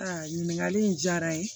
Aa ɲininkali in diyara n ye